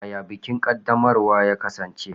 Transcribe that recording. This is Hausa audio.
Yaya bikin ƙaddamarwa ya kasance?